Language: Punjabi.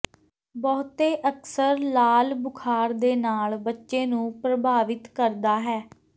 ਬਹੁਤੇ ਅਕਸਰ ਲਾਲ ਬੁਖ਼ਾਰ ਦੇ ਨਾਲ ਬੱਚੇ ਨੂੰ ਪ੍ਰਭਾਵਿਤ ਕਰਦਾ ਹੈ